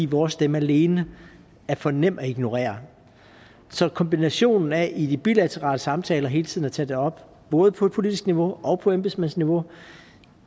vores stemme alene er for nem at ignorere så kombinationen af i de bilaterale samtaler hele tiden at tage det op både på politisk niveau og på embedsmæssigt niveau